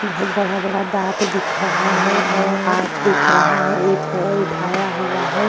बोहोत बड़ा-बड़ा दांत दिख रहा है और आँख दिख रहा है। एक पैर उठाया हुआ है।